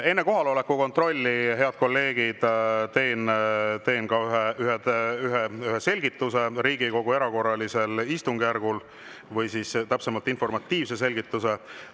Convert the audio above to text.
Enne kohaloleku kontrolli, head kolleegid, teen ühe selgituse Riigikogu erakorralise istungjärgu kohta, täpsemalt informatiivse selgituse.